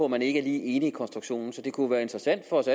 man ikke er helt enig i konstruktionen så det kunne være interessant for os